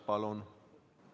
Palun!